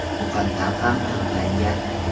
muqaddam ham sudlangan.